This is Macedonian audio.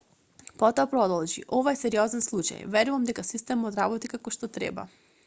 потоа продолжи ова е сериозен случај верувам дека системот работи како што треба